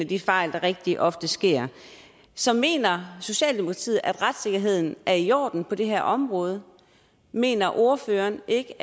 de fejl der rigtig ofte sker så mener socialdemokratiet at retssikkerheden er i orden på det her område mener ordføreren ikke